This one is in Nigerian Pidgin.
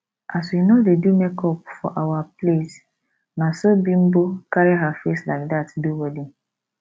as we no dey do makeup for our place na so bimbo carry her face like that do wedding